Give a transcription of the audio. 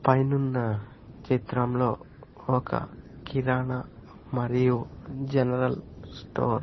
పైనున్న చిత్రంలో ఒక కిరాణ మరియు జనరల్ స్టోర్ --